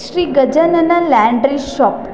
Shri Gajanana laundry shop .